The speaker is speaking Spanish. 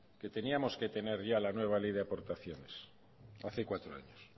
que teníamos que tener ya la nueva ley de aportaciones hace cuatro años